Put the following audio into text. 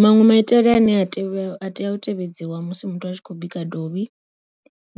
Maṅwe maitele ane a tea u tevhedziwa musi muthu a tshi khou bika dovhi,